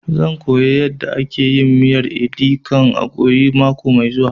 Zan koya yanda ake miyar edi kan ikong mako mai zuwa